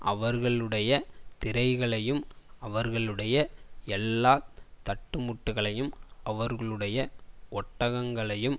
அவர்களுடைய திரைகளையும் அவர்களுடைய எல்லா தட்டுமுட்டுகளையும் அவர்களுடைய ஒட்டகங்களையும்